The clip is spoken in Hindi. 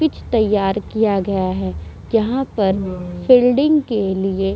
पिच तैयार किया गया है। यहाँ पर फील्डिंग के लिए --